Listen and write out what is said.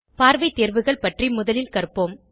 பார்வை தேர்வுகள் பற்றி முதலில் கற்போம்